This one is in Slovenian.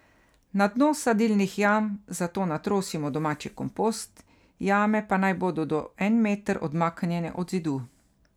Na dno sadilnih jam zato natrosimo domači kompost, jame pa naj bodo do en meter odmaknjene od zidu.